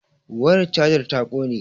wayar chajar ta ƙone